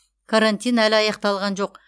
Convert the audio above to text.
карантин әлі аяқталған жоқ